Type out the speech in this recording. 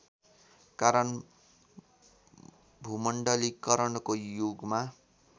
कारण भूमण्डलीकरणको युगमा